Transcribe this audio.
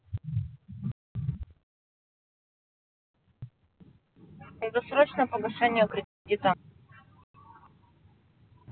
досрочное погашение кредита